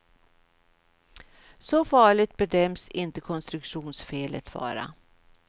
Så farligt bedöms inte konstruktionsfelet vara.